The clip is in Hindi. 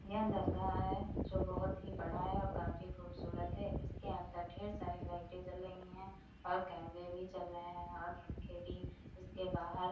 यह दरगाह है जो बहुत ही बड़ा है और काफी खूबसूरत है इसके अंदर ढेर सारी लाइटे जल रही हैं और कैमरे भी चल रहे हैंऔर पंखे भी इसके बाहर।